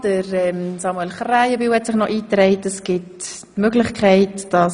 Herr Grossrat Krähenbühl hat sich noch in die Rednerliste eingetragen.